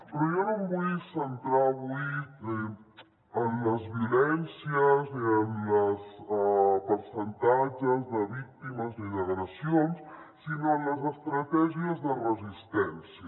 però jo no em vull centrar avui en les violències ni en els percentatges de víctimes ni d’agressions sinó en les estratègies de resistència